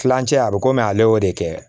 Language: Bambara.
Kilancɛ a bɛ komi ale y'o de kɛ